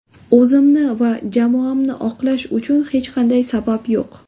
O‘zimni va jamoamni oqlash uchun, hech qanday sabab yo‘q.